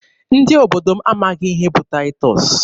Ndị obodo m amaghị ihe bụ Taịtọs.